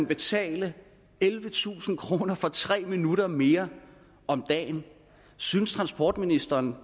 betale ellevetusind kroner for tre minutter mere om dagen synes transportministeren